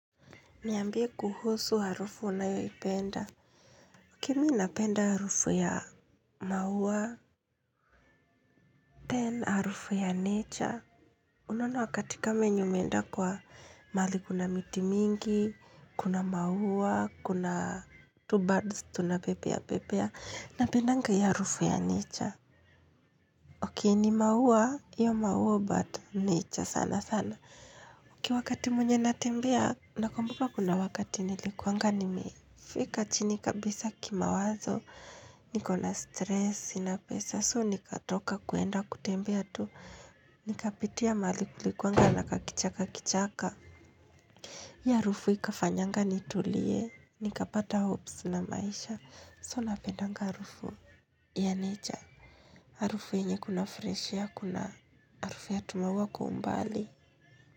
Niambie kuhusu harufu unayoipenda. Mimi napenda harufu ya maua. Then harufu ya nature. Unaona wakati kama yenye umeenda kwa mahali kuna miti mingi, kuna maua, kuna tu birds tunapepea pepea. Napendanga hiyo harufu ya nature. Okay ni maua, hiyo maua but nature sana sana. Ki wakati mwenye natembea, nakambuka kuna wakati nilikuanga nime. Fika chini kabisa kimawazo, nikona stress, sinapesa, so nikatoka kwenda kutembea tu, nikapitia mahali kulikuanga na kakichaka kichaka. Hiyo harufu ikafanyanga nitulie, nikapata hopes na maisha, so napendanga harufu. Ya naure, harufu yenye kuna fresh air kuna, harufu ya tu maua kwa umbali.